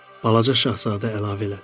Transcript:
Balaca Şahzadə əlavə elədi: